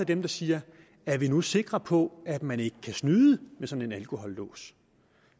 dem der siger er vi nu sikre på at man ikke kan snyde med sådan en alkolås